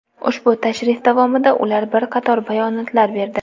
Ushbu tashrif davomida ular bir qator bayonotlar berdi.